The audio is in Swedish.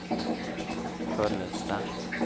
Sköllersta